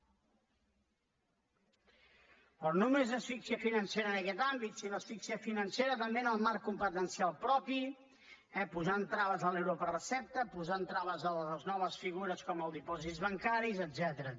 però no només asfíxia financera en aquest àmbit sinó asfíxia financera també en el marc competencial propi posant traves a l’euro per recepta posant traves a les noves figures com els dipòsits bancaris etcètera